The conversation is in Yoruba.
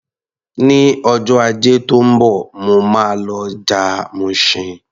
Ní ọjọ́ Ajé tó ń bọ̀, mo máa lọ ọjà Mushin.